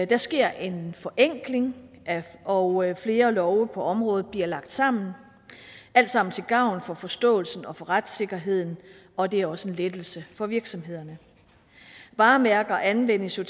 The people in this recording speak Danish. der sker en forenkling og flere love på området bliver lagt sammen alt sammen til gavn for forståelsen og for retssikkerheden og det er også en lettelse for virksomhederne varemærker anvendelse